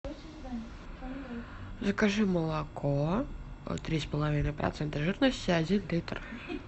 закажи молоко три с половиной процента жирности один литр